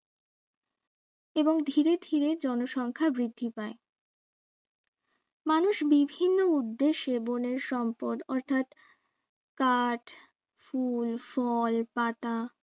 এবং ধীরে ধীরে জনসংখ্যা বৃদ্ধি পায় মানুষ বিভিন্ন উদ্দেশ্যে বনের সম্পদ অর্থাৎ কাঠ, ফুল, ফল, পাতা